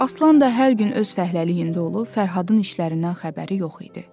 Aslan da hər gün öz fəhləliyində olub, Fərhadın işlərindən xəbəri yox idi.